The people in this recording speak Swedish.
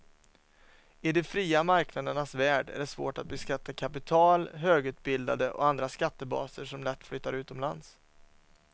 I de fria marknadernas värld är det svårt att beskatta kapital, högutbildade och andra skattebaser som lätt flyttar utomlands.